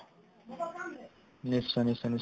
নিশ্চয় নিশ্চয় নিশ্চয়